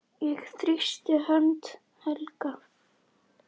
Ég þrýsti hönd Helga.